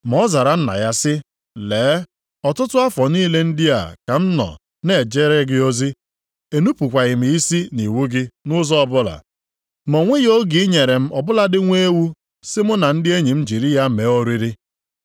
Ma ọ zara nna ya sị, ‘Lee ọtụtụ afọ niile ndị a ka m nọọ na-ejere gị ozi, enupukwaghị m isi nʼiwu gị nʼụzọ ọbụla. Ma o nweghị oge i nyere m ọ bụladị nwa ewu sị mụ na ndị enyi m jiri ya mee oriri.